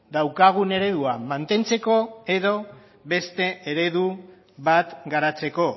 daukagun eredua mantentzeko edo beste eredu bat garatzeko